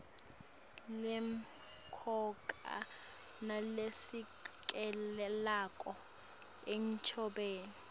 lemcoka nalesekelako enchubeni